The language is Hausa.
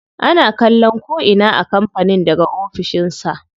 Ana kallon ko'ina a kampanin daga ofishin sa.